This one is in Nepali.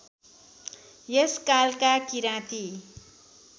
यस कालका किराँती